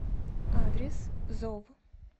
адрес зов